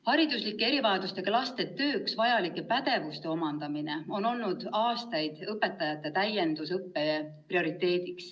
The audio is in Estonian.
Hariduslike erivajadustega laste tööks vajalike pädevuste omandamine on olnud aastaid õpetajate täiendusõppe prioriteet.